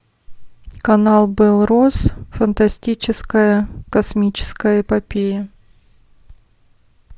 канал белрос фантастическая космическая эпопея